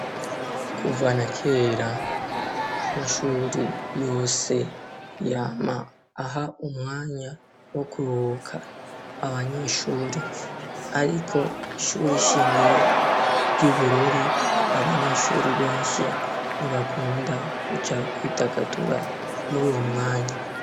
Kuvana kera amashuri yose yama aha umwanya wo kuroka abanyeshuri, ariko ishuri ishingiro ry'i bururi abanyeshuri benshi ntibakunda kuja kwidagatura muri uwo mwe anyi.